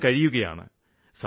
അക്കാലം കഴിയുകയാണ്